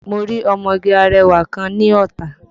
Mo rí ọmọge arẹwà kan ní Ọ̀tà